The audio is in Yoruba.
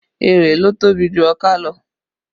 Erè ló tóbi jù ọká lọ